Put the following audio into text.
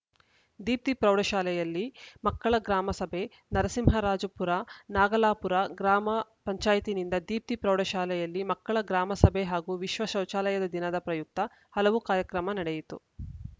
ದೀಪ್ತಿ ಪ್ರೌಢ ಶಾಲೆಯಲ್ಲಿ ಮಕ್ಕಳ ಗ್ರಾಮ ಸಭೆ ನರಸಿಂಹರಾಜಪುರ ನಾಗಲಾಪುರ ಗ್ರಾಮ ಪಂಚಾಯತ್ ನಿಂದ ದೀಪ್ತಿ ಪ್ರೌಢ ಶಾಲೆಯಲ್ಲಿ ಮಕ್ಕಳ ಗ್ರಾಮ ಸಭೆ ಹಾಗೂ ವಿಶ್ವ ಶೌಚಾಲಯ ದಿನದ ಪ್ರಯುಕ್ತ ಹಲವು ಕಾರ್ಯಕ್ರಮ ನಡೆಯಿತು